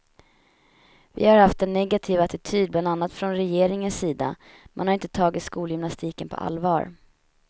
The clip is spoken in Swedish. Vi har haft en negativ attityd bland annat från regeringens sida, man har inte tagit skolgymnastiken på allvar.